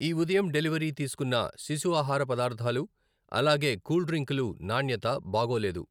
ఈ ఉదయం డెలివరీ తీసుకున్న శిశు ఆహార పదార్థాలు అలాగే కూల్ డ్రింకులు నాణ్యత బాగోలేదు.